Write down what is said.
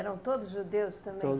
Eram todos judeus também?